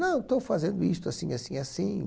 Não, estou fazendo isto, assim, assim, assim.